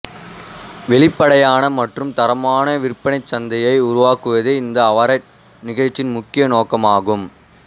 வெளிப்படையான மற்றும் தரமான விற்பனைச்சந்தையை உருவாக்குவதே இந்த அவார்ட் நிகழ்ச்சியின் முக்கிய நோக்கமாகும்